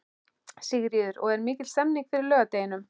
Sigríður: Og er mikil stemning fyrir laugardeginum?